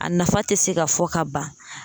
A nafa tɛ se ka fɔ ka ban